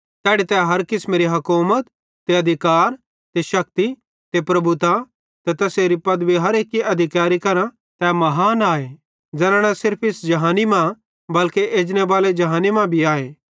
तैड़ी तै हर किसमेरी हकौमत ते अधिकार ते शक्ति ते प्रभुता ते तैसेरी पदवी हर एक्के अधिकैरी करां तै महान आए ज़ैना न सिर्फ इस जहानी मां पन एजनेबाले जहानी मां भी आए